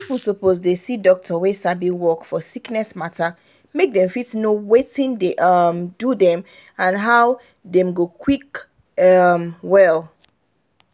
people suppose dey see doctor wey sabi work for sickness matter make dem fit know watin dey um do dem and how dem go quick um well.